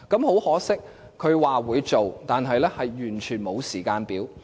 很可惜，特首說會做，但卻完全沒有時間表。